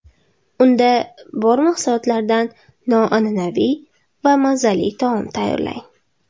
Unda bor mahsulotlardan noan’anaviy va mazali taom tayyorlang.